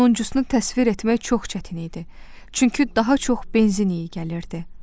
Sonuncusunu təsvir etmək çox çətin idi, çünki daha çox benzin iyi gəlirdi.